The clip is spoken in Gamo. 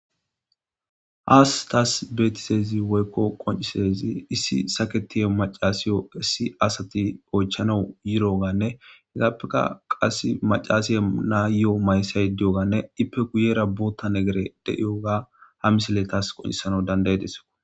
Hayissani tassi betidayisi woyi qoncidayisi issi saketiya macasiwu issi oyichanawu yidda assati hessatape macasiya iyo mayo mayizashe dawusi ippe guyera botha misileyi deyewaga ha misileyi tassi qoncises